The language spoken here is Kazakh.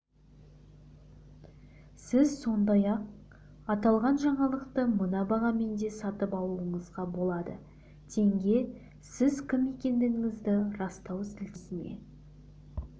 сіз сондай-ақ аталған жаңалықты мына бағамен де сатып алуыңызға болады теңге сіз кім екендігіңізді растау сілтемесіне